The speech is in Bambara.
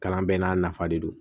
Kalan bɛɛ n'a nafa de don